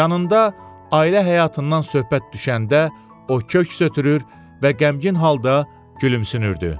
Yanında ailə həyatından söhbət düşəndə, o köks ötürür və qəmgin halda gülümsünürdü.